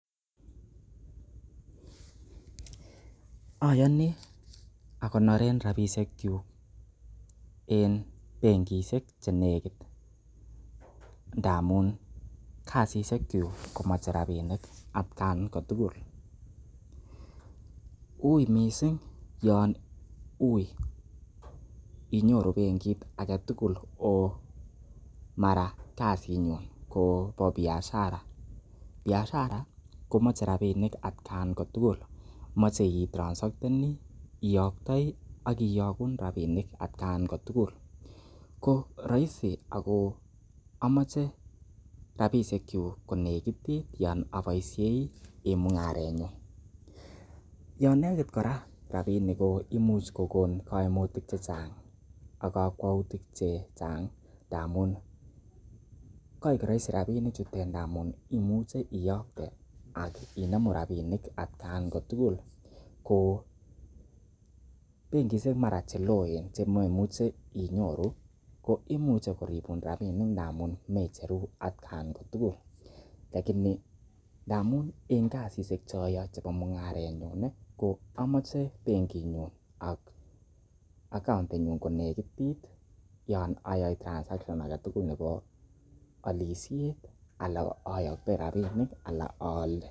Oyoni akoneren rabishekyuk en benkishek che negit ndamun kasishekyuk komoche rabinik atkan ko tugul. Uiy mising yon uiy inyoru bengit age tugul oh mara kasinyun kobo biashara. Biashara komoche rabinik atkan kotugul moche itransacteni, iyoktoi ak kiyogun rabinik atkan ko tugul. Ko roisi ago amoche rabishekyuk konegitit yon aboisiei en mung'arenyun. Yon negit kora rabinik ko imuch kogon kaimutik che chang ak kakwautik che chang ngamun koik roisi rabishek chutet, ngamun imuche iyokte ak inemu rabinik atkan kotugul ko benkishek mara che loen chemoimuche inyoru koimuche koribun rabishek amun mecheru atkan kotugul, lakini ndamun en kasishek chechuk che oyoe chebo mung'arenyuni ko amochebenkitnyun ak account nenyun konekitit yon ayae transaction age tugul nebo olisiet ala oyoktoi rabishek anan oole.